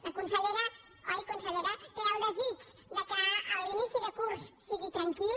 la consellera oi consellera té el desig que l’inici de curs sigui tranquil